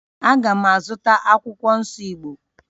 A ga m azụta akwụkwọ nsọ Igbo